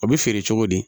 O bɛ feere cogo di